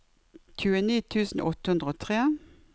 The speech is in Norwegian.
tjueni tusen åtte hundre og tre